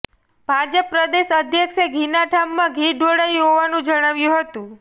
ભાજપ પ્રદેશ અધ્યક્ષે ઘીના ઠામમાં ઘી ઢોળાયું હોવાનું જણાવ્યું હતું